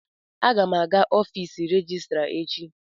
Aga m aga n'ọfiisi rejistra echi.